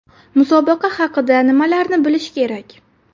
Musobaqa haqida nimalarni bilish kerak?.